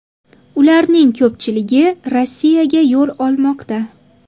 Ularning ko‘pchiligi Rossiyaga yo‘l olmoqda.